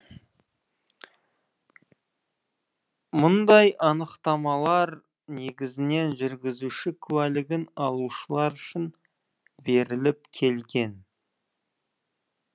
мұндай анықтамалар негізінен жүргізуші куәлігін алушылар үшін беріліп келген